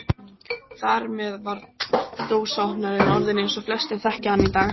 Þar með var dósaopnarinn orðinn eins og flestir þekkja hann í dag.